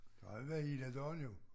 Det har jeg været hele dagen jo